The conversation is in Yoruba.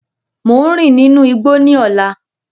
Mo n rin ninu igbó ni ọlá.